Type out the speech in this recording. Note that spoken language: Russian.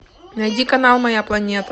найди канал моя планета